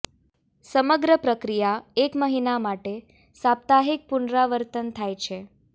સમગ્ર પ્રક્રિયા એક મહિના માટે સાપ્તાહિક પુનરાવર્તન થાય છે